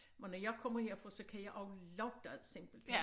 Men når jeg kommer herfra så kan jeg også lugte det simpelthen